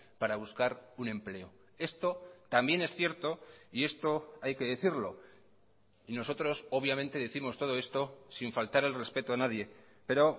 para buscar un empleo esto también es cierto y esto hay que decirlo y nosotros obviamente décimos todo esto sin faltar el respeto a nadie pero